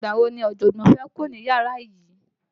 Ìgbà wò ni ojogbon fẹ́ kúrò ní yàrá yìí?